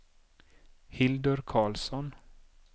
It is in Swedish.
Hildur Carlsson